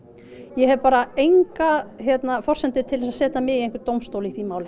ég hef bara enga forsendu til að setja mig í einhvern dómstól í því máli